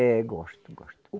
É, gosto, gosto.